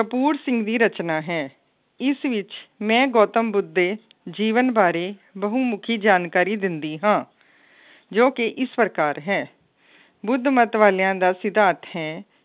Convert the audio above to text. ਤੂੜ ਸਿੰਘ ਦੀ ਰਚਨਾ ਹੈ। ਇਸ ਵਿੱਚ ਮੈਂ ਗੌਤਮ ਬੁੱਧ ਦੇ ਜੀਵਨ ਬਾਰੇ ਬਹੁਮੁੱਖੀ ਜਾਣਕਾਰੀ ਦਿੰਦੀ ਹਾਂ। ਜੋ ਕਿ ਇਸ ਪ੍ਰਕਾਰ ਹੈ। ਬੁੱਧ ਮੱਤ ਵਾਲਿਆਂ ਦਾ ਸਿਧਾਂਤ ਹੈ